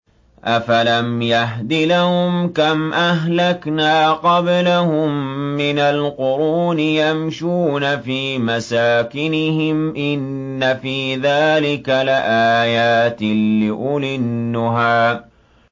أَفَلَمْ يَهْدِ لَهُمْ كَمْ أَهْلَكْنَا قَبْلَهُم مِّنَ الْقُرُونِ يَمْشُونَ فِي مَسَاكِنِهِمْ ۗ إِنَّ فِي ذَٰلِكَ لَآيَاتٍ لِّأُولِي النُّهَىٰ